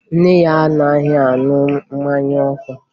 Nne ya anaghị aṅụ mmanya ọkụ